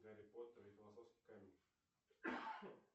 гарри поттер и философский камень